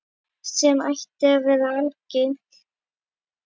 Sem ætti að vera algilt.